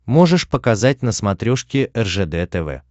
можешь показать на смотрешке ржд тв